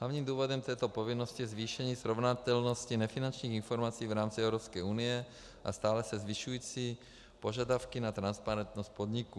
Hlavním důvodem této povinnosti je zvýšení srovnatelnosti nefinančních informací v rámci Evropské unie a stále se zvyšující požadavky na transparentnost podniků.